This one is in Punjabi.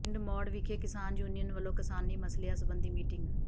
ਪਿੰਡ ਮੌੜ ਵਿਖੇ ਕਿਸਾਨ ਯੂਨੀਅਨ ਵਲੋਂ ਕਿਸਾਨੀ ਮਸਲਿਆਂ ਸਬੰਧੀ ਮੀਟਿੰਗ